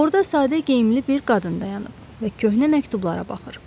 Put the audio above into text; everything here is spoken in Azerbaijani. Orda sadə geyimli bir qadın dayanıb və köhnə məktublara baxır.